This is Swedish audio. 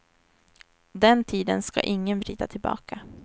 Den tiden ska ingen vrida tillbaka.